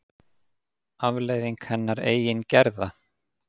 Afleiðing hennar eigin gerða.